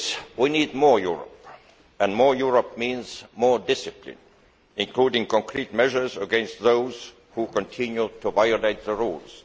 We do need more Europe, and more Europe means more discipline, including concrete measures against those who continue to violate the rules.